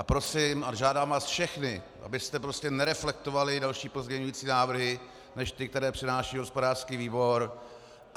A prosím a žádám vás všechny, abyste prostě nereflektovali další pozměňující návrhy než ty, které přináší hospodářský výbor.